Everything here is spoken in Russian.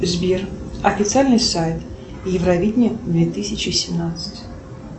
сбер официальный сайт евровидение две тысячи семнадцать